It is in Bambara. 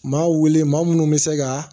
Maa wele maa minnu bɛ se ka